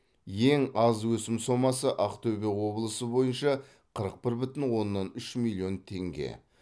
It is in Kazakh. ең аз өсім сомасы ақтөбе облысы бойынша қырық бір бүтін оннан үш миллион теңге